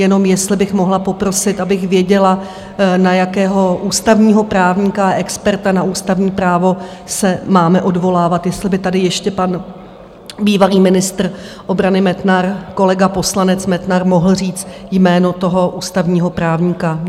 Jenom jestli bych mohla poprosit, abych věděla, na jakého ústavního právníka a experta na ústavní právo se máme odvolávat, jestli by tady ještě pan bývalý ministr obrany Metnar, kolega poslanec Metnar, mohl říct jméno toho ústavního právníka.